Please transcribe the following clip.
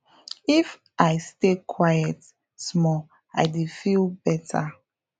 if i stay quite small i dey feel better